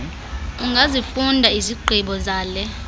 ungazifunda izigqibo zale